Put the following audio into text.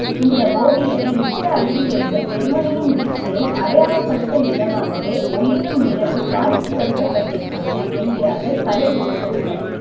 இந்த ஒவியமே யுத்த அழிவிலிருந்த ஜெர்மனியின் மீட்சியை அடையாளப்படுத்தும் விதமாகவே ஒளிரும் நிலவு காட்சிப்படுத்தபட்டிருக்கிறது என்கிறார்கள் கலைவிமர்சகர்கள்